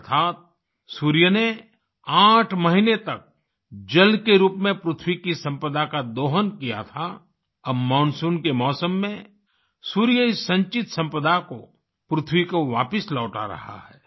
अर्थात सूर्य ने आठ महीने तक जल के रूप में पृथ्वी की संपदा का दोहन किया था अब मानसून के मौसम में सूर्य इस संचित संपदा को पृथ्वी को वापिस लौटा रहा है